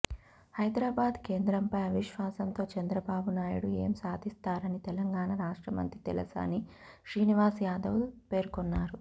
హైదరాబాద్ః కేంద్రంపై అవిశ్వాసంతో చంద్రబాబునాయుడు ఏం సాధిస్తారని తెలంగాణ రాష్ట్ర మంత్రి తలసాని శ్రీనివాస్ యాదవ్ పేర్కొన్నారు